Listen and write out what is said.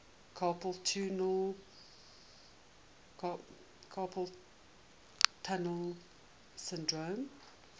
carpal tunnel syndrome